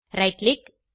right click